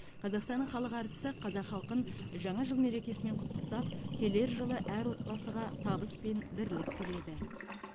қазақстанның халық әртісі қазақ халқын жаңа жыл мерекесімен құттықтап келер жылы әр отбасыға табыс пен бірлік тіледі